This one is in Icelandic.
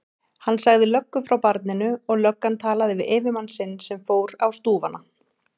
Hann sagði löggu frá barninu og löggan talaði við yfirmann sinn sem fór á stúfana.